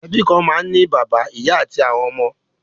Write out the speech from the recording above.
Ẹbí kan máa ń ní bàbá, ìyá àti àwọn ọmọ.